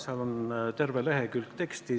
Seda teksti on terve lehekülg.